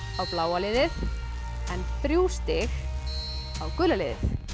á bláa liðið en þrjú stig á gula liðið